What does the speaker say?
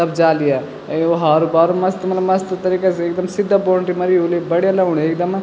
सब जा लिया अ ओ हारो पारो मस्त मलब मस्त तरीका से एकदम सिद्धा बाउंड्री मरी होली बढ़िया लगणु एकदम।